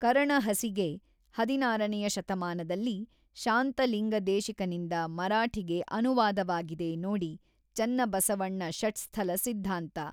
ಕರಣಹಸಿಗೆ ಹದಿನಾರನೆಯ ಶತಮಾನದಲ್ಲಿ ಶಾಂತಲಿಂಗ ದೇಶಿಕನಿಂದ ಮರಾಠಿಗೆ ಅನುವಾದವಾಗಿದೆ ನೋಡಿ ಚನ್ನಬಸವಣ್ಣ ಷಟ್ಸ್ಥಲ ಸಿದ್ಧಾಂತ.